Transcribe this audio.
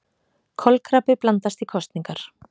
Kolkrabbi blandast í kosningar